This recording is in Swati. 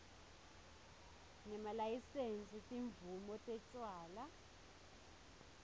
nemalayisensi timvumo tetjwala